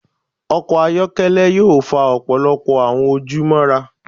Ọkọ ayọkẹlẹ yoo fa ọpọlọpọ awọn oju